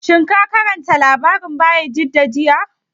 Shin ka karanta labarin Bayajidda jiya?